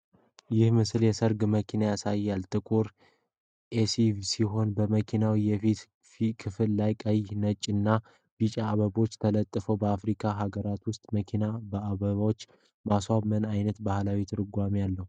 ይህ ምስል የሠርግ መኪና ያሳያል፤ ጥቁር ኤስዩቪ ሲሆን፣ በመኪናው የፊት ክፍል ላይ ቀይ፣ ነጭ እና ቢጫ አበቦች ተለጥፈዋል። በአፍሪካ ሀገራት ውስጥ መኪናዎችን በአበቦች ማስዋብ ምን ዓይነት ባህላዊ ትርጉም አለው?